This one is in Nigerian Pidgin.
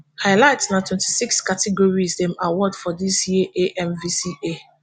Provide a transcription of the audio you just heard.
highlights na twenty-six categories dem award for dis year amvca